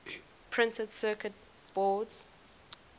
printed circuit boards